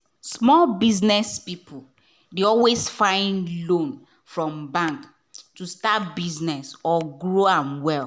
small biz people dey always find loan from bank to start business or grow am well.